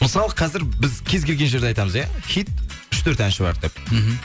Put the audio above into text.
мысалы қазір біз кез келген жерді айтамыз иә хит үш төрт әнші бар деп мхм